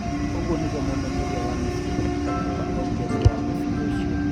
Ũguo nĩguo mũmenyeria wa Misiri Hector Cuper oigire thutha wa mũbira ũcio.